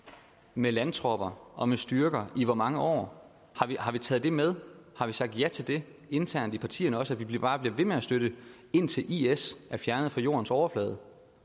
med landtropper og med styrker og i hvor mange år har vi taget det med har vi sagt ja til det internt i partierne også altså at vi bare bliver ved med at støtte indtil is er fjernet fra jordens overflade